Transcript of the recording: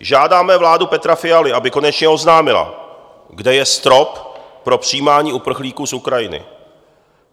Žádáme vládu Petra Fialy, aby konečně oznámila, kde je strop pro přijímání uprchlíků z Ukrajiny.